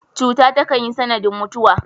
Cuta takan yi sanadin mutuwa.